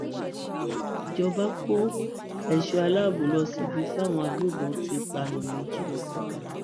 ìjọba kó èso aláàbọ lọ síbi táwọn agbébọn ti pààyàn méjì ní kwara